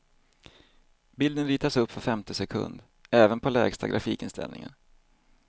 Bilden ritas upp var femte sekund, även på lägsta grafikinställningen.